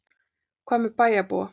Og hvað með bæjarbúa?